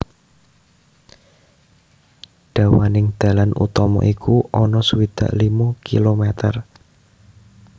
Dawaning dalan utama iku ana swidak limo km